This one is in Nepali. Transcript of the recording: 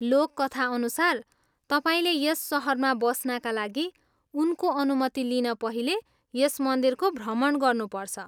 लोककथा अनुसार, तपाईँले यस सहरमा बस्नाका लागि उनको अनुमति लिन पहिले यस मन्दिरको भ्रमण गर्नुपर्छ।